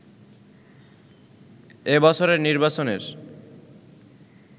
এবছরের নির্বাচনের